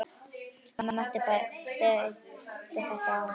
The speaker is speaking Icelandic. Ég mætti bæta þetta aðeins.